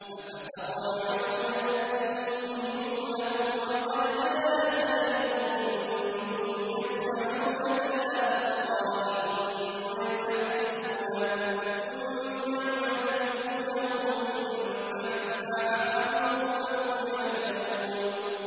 ۞ أَفَتَطْمَعُونَ أَن يُؤْمِنُوا لَكُمْ وَقَدْ كَانَ فَرِيقٌ مِّنْهُمْ يَسْمَعُونَ كَلَامَ اللَّهِ ثُمَّ يُحَرِّفُونَهُ مِن بَعْدِ مَا عَقَلُوهُ وَهُمْ يَعْلَمُونَ